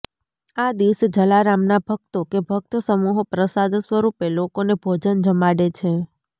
આ દિવસે જલારામના ભક્તો કે ભક્ત સમૂહો પ્રસાદ સ્વરૂપે લોકોને ભોજન જમાડે છે